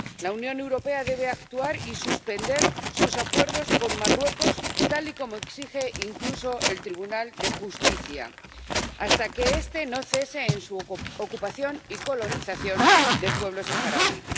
La Unión Europea debe actuar y suspender sus acuerdos con Marruecos, tal y como exige incluso el Tribunal de Justicia, hasta que este no cese en su ocupación y colonización del pueblo saharaui.